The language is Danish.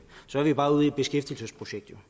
skal